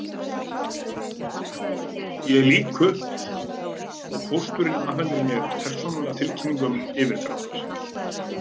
Ég lýk upp og pósturinn afhendir mér persónulega tilkynningu um yfirdrátt.